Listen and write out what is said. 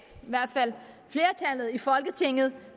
i hvert fald flertallet i folketinget